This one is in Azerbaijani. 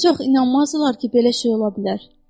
Heç vaxt inanmazdılar ki, belə şey ola bilər.